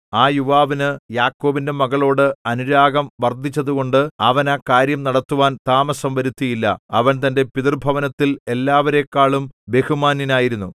ആ യുവാവിനു യാക്കോബിന്റെ മകളോട് അനുരാഗം വർദ്ധിച്ചതുകൊണ്ട് അവൻ ആ കാര്യം നടത്തുവാൻ താമസം വരുത്തിയില്ല അവൻ തന്റെ പിതൃഭവനത്തിൽ എല്ലാവരെക്കാളും ബഹുമാന്യനായിരുന്നു